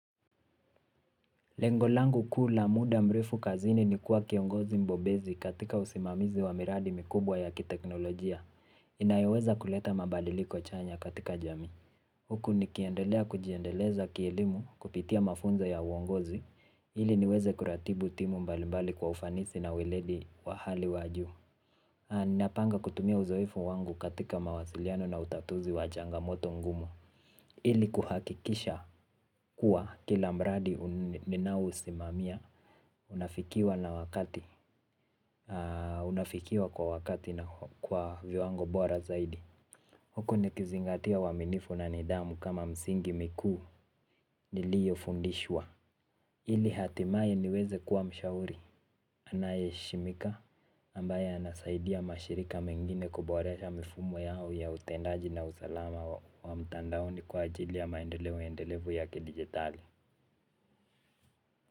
Lengo langu kula muda mrefu kazini ni kuwa kiongozi mbobezi katika usimamizi wa miradi mikubwa ya kiteknolojia. Inayoweza kuleta mabadiliko chanya katika jamii. Huku nikiendelea kujiendeleza kielimu kupitia mafunzo ya uongozi ili niweze kuratibu timu mbali mbali kwa ufanisi na uwiledi wa hali wajuu. Napanga kutumia uzoefu wangu katika mawasiliano na utatuzi wa changamoto ngumu ili kuhakikisha kuwa kila mradi ninao usimamia. Unafikiwa na wakati, unafikiwa kwa wakati na kwa viwango bora zaidi. Huko ni kizingatia waminifu na nidhamu kama msingi miku nilio fundishwa. Ili hatimaye niweze kuwa mshauri. Anaye heshimika ambaye anasaidia mashirika mengine kuboresha mifumo yao ya utendaji na usalama wa mtandaoni kwa ajili ya maendeleo endelevu ya kidijitali.